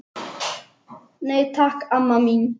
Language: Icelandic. Nei, takk, amma mín.